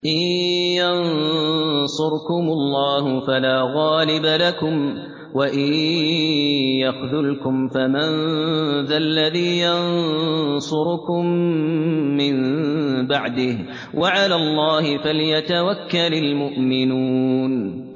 إِن يَنصُرْكُمُ اللَّهُ فَلَا غَالِبَ لَكُمْ ۖ وَإِن يَخْذُلْكُمْ فَمَن ذَا الَّذِي يَنصُرُكُم مِّن بَعْدِهِ ۗ وَعَلَى اللَّهِ فَلْيَتَوَكَّلِ الْمُؤْمِنُونَ